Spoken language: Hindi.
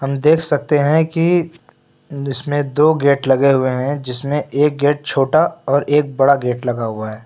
हम देख सकते हैं की इस में दो गेट लगे हुए हैं जिसमें एक गेट छोटा और एक बड़ा गेट लगा हुआ है।